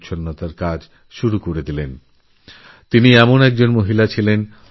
ইনি সেই মহিলা যিনি বিলাসব্যসনসুখভোগ ছেড়ে গরীবদুঃখী মানুষের জন্য নিজেকে বিলিয়ে দিয়েছিলেন